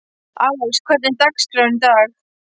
Alex, hvernig er dagskráin í dag?